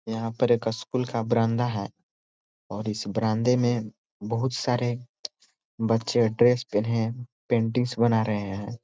यहाँ पे एक स्कूल का बरामदा है और इस बरामदे में बहुत सारे बच्चें ड्रेस पहिने पेन्टिंग बना रहे है। .